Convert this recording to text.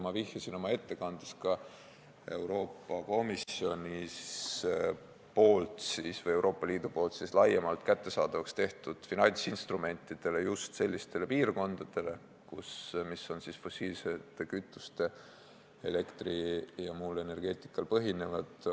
Ma vihjasin oma ettekandes ka Euroopa Komisjoni või laiemalt Euroopa Liidu poolt kättesaadavaks tehtud finantsinstrumentidele just selliste piirkondade jaoks, mis on põhinenud fossiilsetest kütustest toodetud elektril ja muul energeetikal.